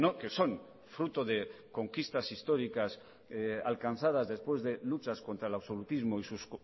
que son fruto de conquistas históricas alcanzadas después de luchas contra el absolutismo y